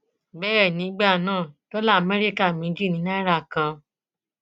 bẹẹ nígbà náà dọlà amẹríkà méjì ni náírà kan